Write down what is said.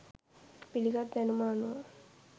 පිළිගත් දැනුම අනුව